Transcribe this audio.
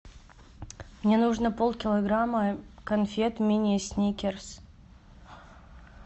мне нужно полкилограмма конфет мини сникерс